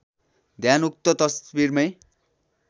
ध्यान उक्त तस्वीरमै